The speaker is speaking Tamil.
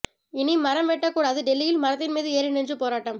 இனி மரம் வெட்டக்கூடாது டெல்லியில் மரத்தின் மீது ஏறி நின்று போராட்டம்